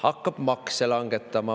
Hakkab makse langetama.